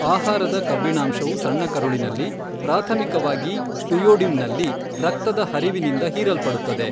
ಆಹಾರದ ಕಬ್ಬಿಣಾಂಶವು ಸಣ್ಣ ಕರುಳಿನಲ್ಲಿ, ಪ್ರಾಥಮಿಕವಾಗಿ ಡುಯೋಡಿನಮ್ನಲ್ಲಿ ರಕ್ತದ ಹರಿವಿನಿಂದ ಹೀರಲ್ಪಡುತ್ತದೆ.